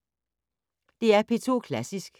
DR P2 Klassisk